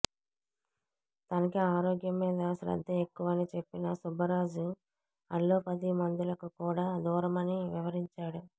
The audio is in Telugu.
తనకి ఆరోగ్యం మీద శ్రద్ధ ఎక్కువని చెప్పిన సుబ్బరాజు అల్లోపతి మందులకు కూడా దూరమని వివరించాడు